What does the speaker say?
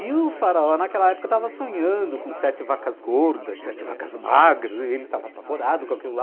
E o Faraó naquela época estava sonhando com sete vacas gordas, sete vacas magras, e ele estava apavorado com aquilo lá.